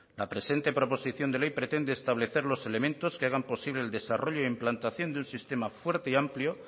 la presente proposición de ley pretende establecer los elementos que hagan posible el desarrollo e implantación de un sistema fuerte y amplio